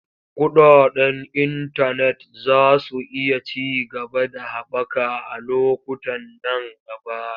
Kuɗaɗen intanet za su iya ci gaba da haɓaka a lokutan nan gaba.